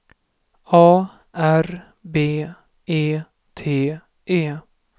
A R B E T E